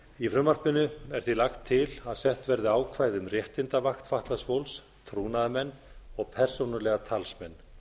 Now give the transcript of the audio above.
í frumvarpinu er því lagt til að sett verði ákvæði um réttindavakt fatlaðs fólks trúnaðarmenn og persónulega talsmenn